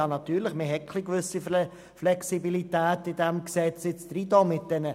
Ja natürlich, mit dem Wörtchen «grundsätzlich» hat man eine gewisse Flexibilität in dieses Gesetz hineingenommen.